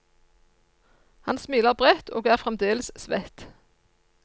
Han smiler bredt, og er fremdeles svett.